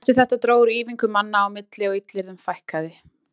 Eftir þetta dró úr ýfingum manna á milli og illyrðum fækkaði.